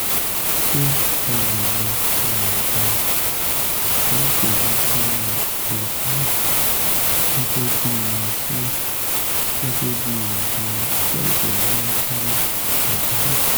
ṣé a lè lo oògùn máàjóyúndúró yasmin gẹ́gẹ́ bí yasmin gẹ́gẹ́ bí oògùn máàjóyúndúró pàjáwìrì?